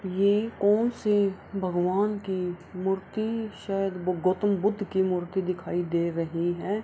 ये कोन से भगवान की मूर्ति शायद गौतम बुद्ध की मूर्ति दिखाई दे रही है।